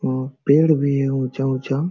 अ पेड़ भी है उचा -उचा।